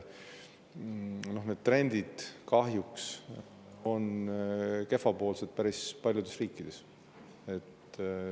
Need trendid on kahjuks kehvapoolsed päris paljudes riikides.